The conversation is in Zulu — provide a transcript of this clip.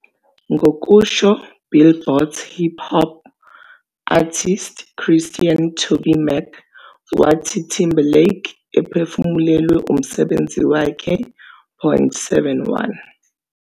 Ngokusho Billboard hip hop artist Christian TobyMac wathi Timberlake ephefumulelwe umsebenzi wakhe.71